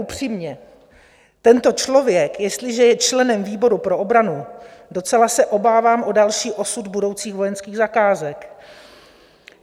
Upřímně, tento člověk, jestliže je členem výboru pro obranu, docela se obávám o další osud budoucích vojenských zakázek.